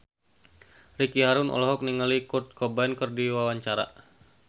Ricky Harun olohok ningali Kurt Cobain keur diwawancara